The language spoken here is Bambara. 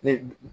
Ni